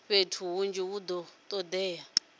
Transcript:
fhethu hunzhi hu do todea